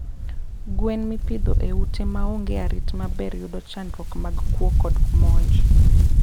Gwen mipidho e ute maonge arit maber yudo chandruok mag kuo kod monj